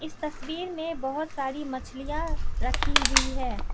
तस्वीर में बहोत सारी मछलियां रखी हुई है।